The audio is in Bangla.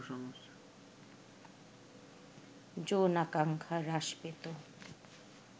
যৌনাকাঙ্ক্ষা হ্রাস পেত